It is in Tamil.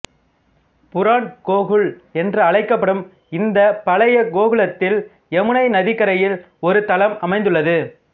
புராண்கோகுல் என்று அழைக்கப்படும் இந்தப் பழைய கோகுலத்தில் யமுனை நதிக்கரையில் ஒரு தலம் அமைந்துள்ளது